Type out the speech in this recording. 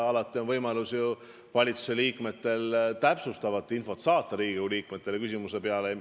Alati on valitsuse liikmetel võimalus saata täpsustav info Riigikogu liikmetele hiljem.